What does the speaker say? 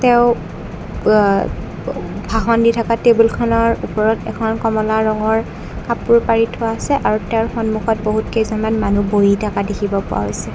তেওঁ প আ ব ভাষণ দি থকা টেবুলখনৰ ওপৰত এখন কমলা ৰঙৰ কাপোৰ পাৰি থোৱা আছে আৰু তেঁওৰ সন্মুখত বহুত কেইজনমান মানুহ বহি থকা দেখিব পোৱা হৈছে।